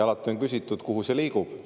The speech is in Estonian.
Alati on küsitud, et kuhu see liigub.